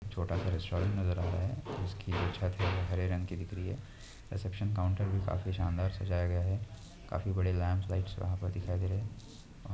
छोटासा रेस्टोरंट नज़र आ रहा है उसकी छत जो है हरे रंग की दिख रही है रिसेप्सशन काउंटर भी काफी शानदार सजाया गया है काफी बड़े लैम्प लाइटस वहाँ पर दिखाई दे रहे है।